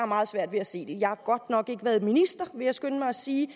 meget svært ved at se det jeg har godt nok ikke været minister vil jeg skynde mig at sige